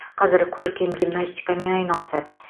қазір көркем гимнастикамен айналысады